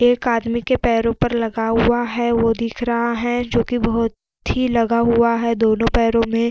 एक आदमी के पैरो पर लगा हुआ है वो दिख रहा है जो कि बहुत ही लगा हुआ है दोनों पैरो में --